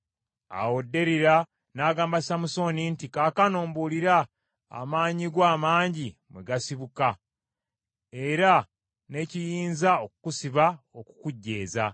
Awo Derira n’agamba Samusooni nti, “Kaakano mbuulira amaanyi go amangi mwe gasibuka, era n’ekiyinza okukusiba okukujeeza.”